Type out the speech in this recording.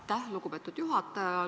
Aitäh, lugupeetud juhataja!